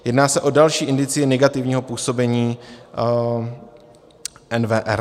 Jedná se o další indicie negativního působení NWR.